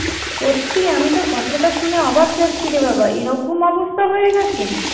সত্যি আমি তো কথাটা শুনে অবাক যাচ্ছি রে বাবা এরকম অবস্থা হয়ে গেছে